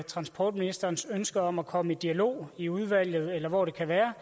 transportministerens ønske om at komme i dialog i udvalget eller hvor det kan være